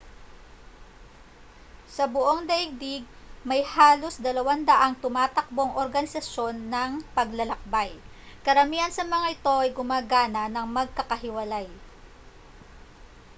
sa buong daigdig may halos 200 tumatakbong organisasyon ng paglalakbay karamihan sa mga ito ay gumagana nang magkakahiwalay